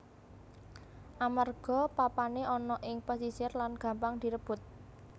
Amerga papané ana ing pesisir lan gampang direbut